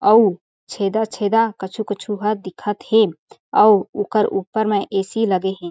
अउ छेदा-छेदा कछु-कछु ह दिखत हे अउ ओकर ऊपर म ऐ_सी लगे हें।